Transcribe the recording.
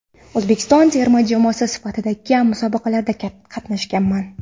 O‘zbekiston terma jamoasi safida kam musobaqalarda qatnashganman.